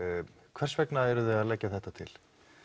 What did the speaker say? hvers vegna eruð þið að leggja þetta til